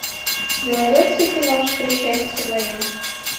у тебя найдется киношка счастье мое